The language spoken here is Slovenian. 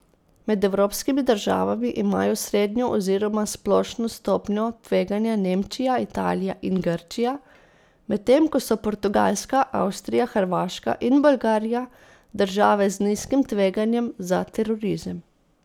Med evropskimi državami imajo srednjo oziroma splošno stopnjo tveganja Nemčija, Italija in Grčija, medtem ko so Portugalska, Avstrija, Hrvaška in Bolgarija države z nizkim tveganjem za terorizem.